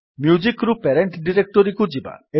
music ରୁ parent ଡିରେକ୍ଟୋରୀକୁ ଯିବା